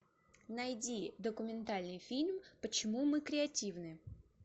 найди документальный фильм почему мы креативны